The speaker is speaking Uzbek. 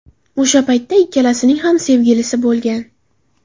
O‘sha paytda ikkalasining ham sevgilisi bo‘lgan.